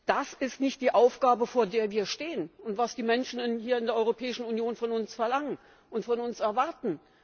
Das ist nicht die Aufgabe, vor der wir stehen, und ist nicht das, was die Menschen hier in der Europäischen Union von uns verlangen und von uns erwarten.